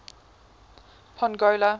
pongola